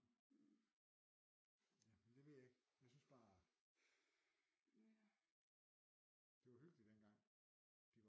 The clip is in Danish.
Ja men det ved jeg ikke jeg synes bare det var hyggeligt dengang de